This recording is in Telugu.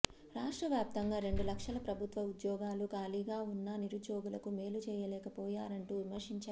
రాష్ట్ర వ్యాప్తంగా రెండు లక్షల ప్రభుత్వ ఉద్యోగాలు ఖాళీగా ఉన్నా నిరుద్యోగులకు మేలు చేయలేకపోయారంటూ విమర్శించారు